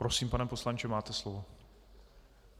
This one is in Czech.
Prosím, pane poslanče, máte slovo.